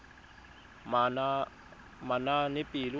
manaanepalo